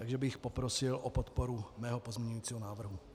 Takže bych poprosil o podporu svého pozměňovacího návrhu.